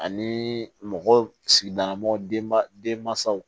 Ani mɔgɔ sigidala mɔgɔw denma denmansaw